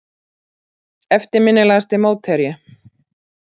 Eftirminnilegasti mótherji?